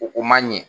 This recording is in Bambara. O ko man ɲɛ